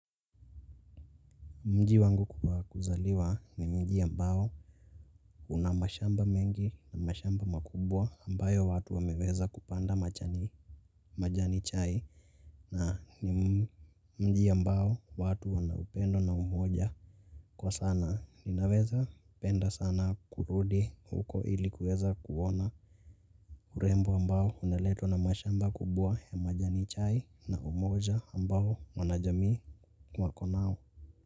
Mji wangu wa kuzaliwa ni mji ambao una mashamba mengi na mashamba makubwa ambayo watu wameweza kupanda majani majani chai na ni mji ambao watu wana upendo na umoja kwa sana ninaweza penda sana kurudi huko ili kuweza kuona. Urembo ambao unaletwa na mashamba kubwa ya majani chai na umoja ambao wanajamii wako nao.